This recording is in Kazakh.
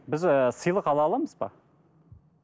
біз ііі сыйлық ала аламыз ба